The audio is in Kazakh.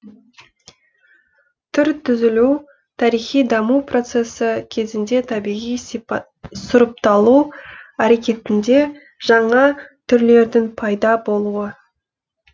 түр түзілу тарихи даму процесі кезінде табиғи сұрыпталу әрекетінде жаңа түрлердің пайда болуы